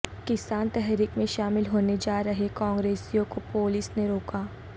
کسان تحریک میں شامل ہونے جا رہے کانگریسیوں کو پولیس نے روکا